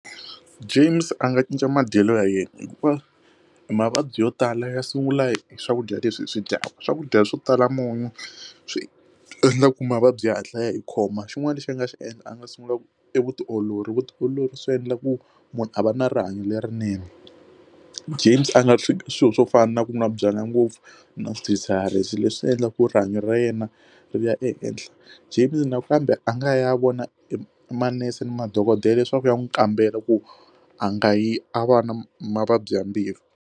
James a nga cinca madyelo ya yena hikuva hi mavabyi yo tala ya sungula hi swakudya leswi hi swi dyaka swakudya swo tala munyu swi endla ku mavabyi hatla ya hi khoma xin'wana lexi a nga swi endla a nga sungula ku i vutiolori vutiolori swi endla ku munhu a va na rihanyo lerinene, James a nga swi swilo swo fana na ku n'wa byalwa ngopfu na swidzhidzhiharisi leswi endlaku rihanyo ra ra yena ri ya ehenhla James nakambe a nga ya vona emanese ni madokodela leswaku ya n'wi kambela ku a nga yi a va na mavabyi ya mbilu.